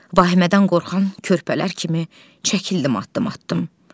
Vahimədən qorxan körpələr kimi çəkildim addım-addım.